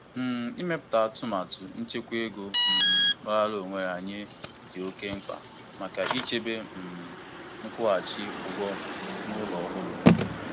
Ndị ọchụnta ego dị mkpa na-ebute ụzọ ichekwa ego maka ebumnuche ogologo oge ha, dịka inwe ihe onwunwe.